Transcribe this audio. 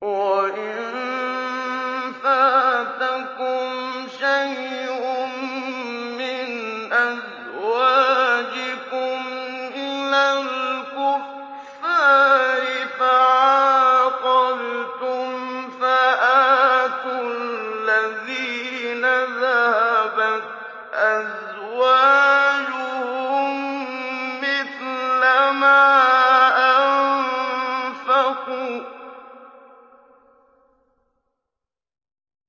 وَإِن فَاتَكُمْ شَيْءٌ مِّنْ أَزْوَاجِكُمْ إِلَى الْكُفَّارِ فَعَاقَبْتُمْ فَآتُوا الَّذِينَ ذَهَبَتْ أَزْوَاجُهُم مِّثْلَ مَا أَنفَقُوا ۚ